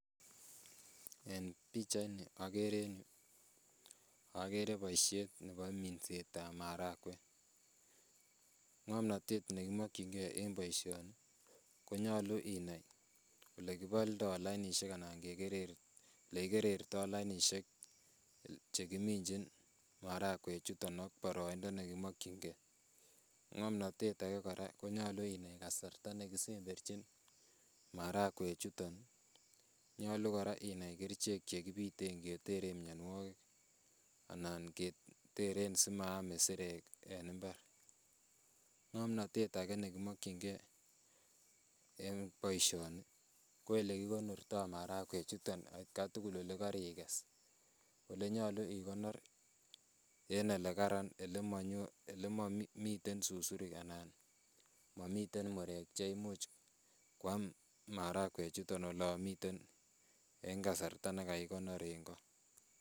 En pichaini agere boisiet nebo minsetab marakwek. Ngamnatet ne kimakyinge en boisioni, konyalu inai ole kiboldo lainisiek anan kegeri. Olegigerertoi lainisiek che giminjin marakwek chuton ak boroindo ne kimakyinge. Ngomnatet age kora konyalu inai kasarta ne kisemberchin marakwechuton. Nyolu kora inai kerichek che kipiten keteren mianwogik anan keteren simaam isirek en imbar. Ngomnatet age ne kimakyinge en boisioni, ko olekigonorto marakwechuton atkai tugul ole kariges. Ole nyalu igonor en olekararan olemanyo, ole mamiten susurik anan mamiten murek che umuch kwam marakwechuton olamiten eng kasarta ne kagigonor en ko.